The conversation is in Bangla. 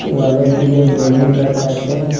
ওয়ালের দিকে বেলুন রাখা আছে।